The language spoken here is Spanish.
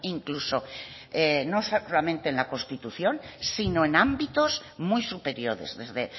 no solamente en la constitución sino en ámbitos muy superiores desde